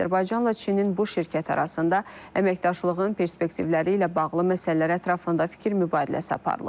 Azərbaycanla Çinin bu şirkət arasında əməkdaşlığın perspektivləri ilə bağlı məsələlər ətrafında fikir mübadiləsi aparılıb.